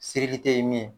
ye min ye